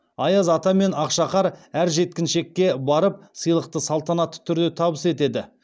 аяз ата мен ақшақар әр жеткіншекке барып сыйлықты салтанатты түрде табыс етеді